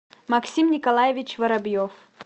максим николаевич воробьев